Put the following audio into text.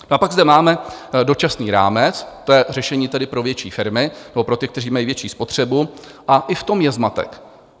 A pak zde máme dočasný rámec, to je řešení tedy pro větší firmy nebo pro ty, kteří mají větší spotřebu, a i v tom je zmatek.